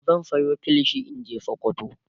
zan Sayo kilishi in naje sokoto